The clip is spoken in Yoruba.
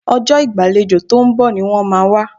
Ọjọ́ ìgbàlejò tó ń bọ̀ ni wọ́n máa wá